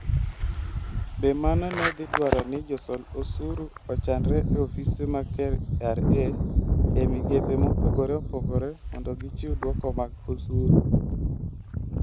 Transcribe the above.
Be mano ne dhi dwaro ni josol osuru ochanre e ofise mag KRA e migepe mopogore opogore mondo gichiw dwoko mag osuru?